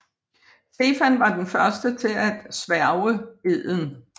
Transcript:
Stefan var den første til at sværge eden